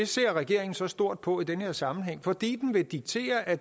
ser regeringen så stort på i den her sammenhæng fordi den vil diktere at